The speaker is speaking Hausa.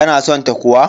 Ka na san ta kuwa?